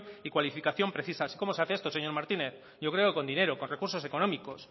y cualificación precisas y cómo se hace esto señor martínez yo creo que con dinero con recursos económicos